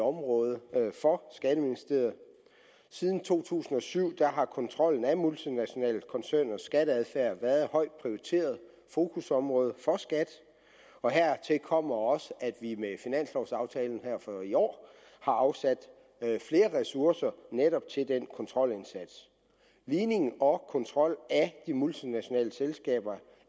område for skatteministeriet siden to tusind og syv har kontrollen af multinationale koncerners skatteadfærd været et højt prioriteret fokusområde for skat og hertil kommer også at vi med finanslovaftalen for i år har afsat flere ressourcer netop til den kontrolindsats ligningen og kontrollen af de multinationale selskaber